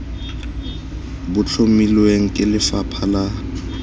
bo tlhomilweng ke lefapha la